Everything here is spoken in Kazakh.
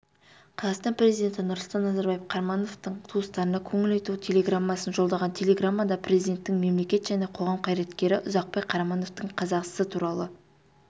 қазақстан президенті нұрсұлтан назарбаев қарамановтың туыстарына көңіл айту телеграммасын жолдаған телеграммада президенттің мемлекет және қоғам қайраткері ұзақбай қарамановтың қазасы туралы